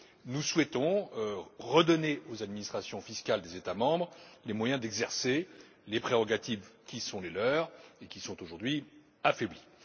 Nous souhaitons redonner aux administrations fiscales des États membres les moyens d'exercer les prérogatives qui sont les leurs et qui sont aujourd'hui affaiblies.